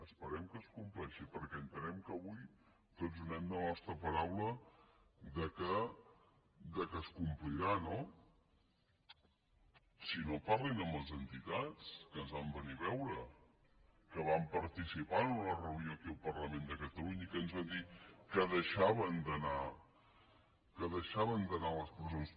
esperem que es compleixi perquè entenem que avui tots donem la nostra paraula que es complirà no si no parlin amb les entitats que ens van venir a veure que van participar en una reunió aquí al parlament de catalunya i que ens van dir que deixaven d’anar a les presons